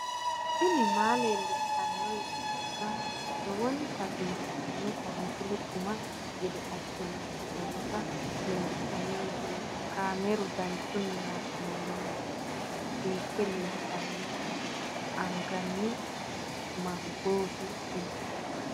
tini maa leelishshanno yaannohura lowonta biiffanota misile xuma gede assine haa'noonnita leellishshanno misileeti kaameru danchunni haa'noonni lamboe biiffe leeeltanno anganni mangooti tini.